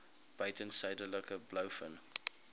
buiten suidelike blouvin